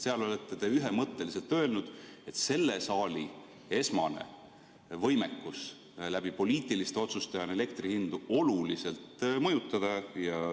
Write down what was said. Seal olete te ühemõtteliselt öelnud, et selle saali esmane võimekus läbi poliitiliste otsuste on elektrihindu oluliselt mõjutada.